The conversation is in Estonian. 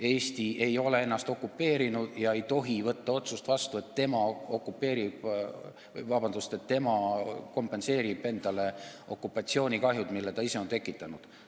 Eesti ei ole ennast okupeerinud ja ei tohi võtta vastu otsust, et tema kompenseerib endale okupatsioonikahjud, mille ta ise on tekitanud.